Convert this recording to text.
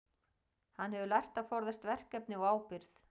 Hann hefur lært að forðast verkefni og ábyrgð.